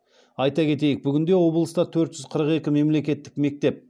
айта кетейік бүгінде облыста төрт жүз қырық екі мемлекеттік мектеп